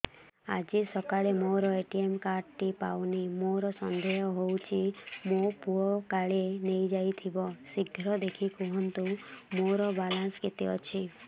ଆଜି ସକାଳେ ମୋର ଏ.ଟି.ଏମ୍ କାର୍ଡ ଟି ପାଉନି ମୋର ସନ୍ଦେହ ହଉଚି ମୋ ପୁଅ କାଳେ ନେଇଯାଇଥିବ ଶୀଘ୍ର ଦେଖି କୁହନ୍ତୁ ମୋର ବାଲାନ୍ସ କେତେ ଅଛି